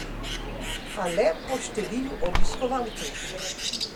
A le po številu obiskovalcev.